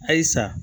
Ayi sa